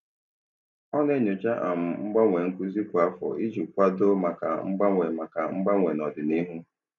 Ọ na-enyocha um mgbanwe nkuzi kwa afọ iji kwado maka mgbanwe maka mgbanwe n'ọdịnihu.